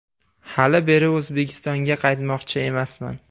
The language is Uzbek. Hali beri O‘zbekistonga qaytmoqchi emasman.